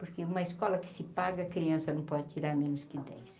Porque uma escola que se paga, criança não pode tirar menos que dez.